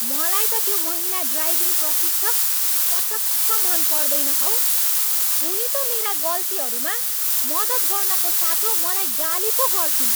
मलाई त त्यो महिला ड्राइभिङ प्रशिक्षक पटक्क मन पर्दैन हौ। उनी त मेरा गल्तीहरूमा मद्दत गर्नको साटो मलाई गाली पो गर्छिन्।